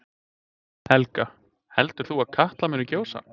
Helga: Heldur þú að Katla muni gjósa?